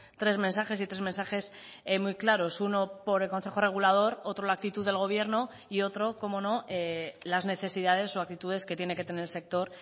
tres mensajes y tres mensajes muy claros uno por el consejo regulador otro la actitud del gobierno y otro cómo no las necesidades o actitudes que tiene que tener el sector